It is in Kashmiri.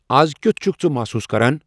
از کِیُتھ چُھکھ ژٕ محسوٗس کران ؟